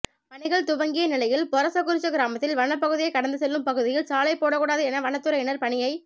பணிகள் துவங்கிய நிலையில் பொரசக்குறிச்சி கிராமத்தில் வனப்பகுதியை கடந்து செல்லும் பகுதியில் சாலை போடக் கூடாது என வனத்துறையினர் பணியை